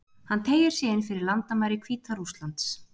Hann teygir sig inn fyrir landamæri Hvíta-Rússlands.